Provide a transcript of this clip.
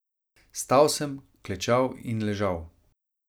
Stal sem, klečal in ležal.